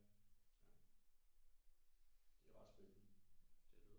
Ja ja det er ret spændende